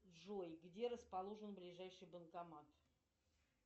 джой где расположен ближайший банкомат